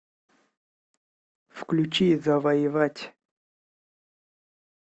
включи завоевать